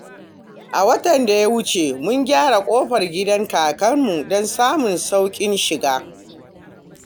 A watan da ya wuce, mun gyara kofar gidan kakarmu don samun sauƙin shiga.